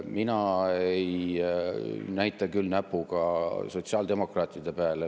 Mina ei näita küll näpuga sotsiaaldemokraatide peale.